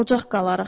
Ocaq qalarıq.